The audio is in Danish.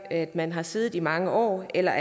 at man har siddet i mange år eller